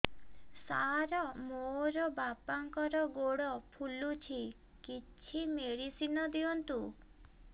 ସାର ମୋର ବାପାଙ୍କର ଗୋଡ ଫୁଲୁଛି କିଛି ମେଡିସିନ ଦିଅନ୍ତୁ